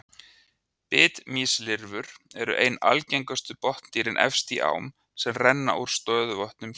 Bitmýslirfur eru ein algengustu botndýrin efst í ám sem renna úr stöðuvötnum hér á landi.